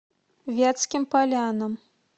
вятским полянам